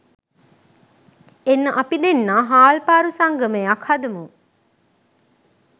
එන්න අපි දෙන්නා හාල්පාරු සංගමයක් හදමු